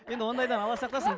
енді ондайдан алла сақтасын